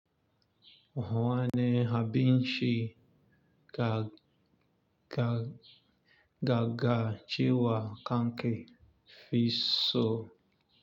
Ha wane abnci ka ga-gaga cewa kanke fi so.